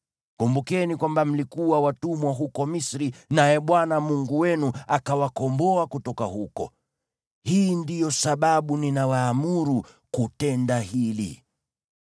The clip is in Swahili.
Kumbukeni kwamba mlikuwa watumwa huko Misri, naye Bwana Mungu wenu akawakomboa kutoka huko. Hii ndiyo sababu ninawaamuru kutenda hili.